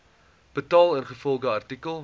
betaal ingevolge artikel